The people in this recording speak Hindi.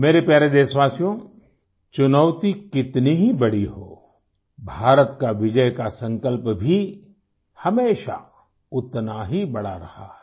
मेरे प्यारे देशवासियो चुनौती कितनी ही बड़ी हो भारत का विजय का संकल्प भी हमेशा उतना ही बड़ा रहा है